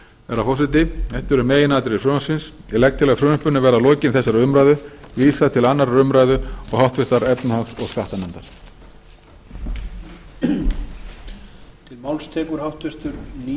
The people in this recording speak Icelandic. herra forseti þetta eru meginatriði frumvarpsins ég legg til að frumvarpinu verði að lokinni þessari umræðu vísað til annarrar umræðu og háttvirtrar efnahags og skattanefndar